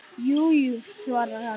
Jú, jú, svarar hann.